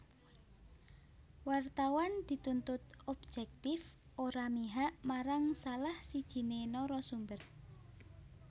Wartawan dituntut objektif ora mihak marang salah sijiné narasumber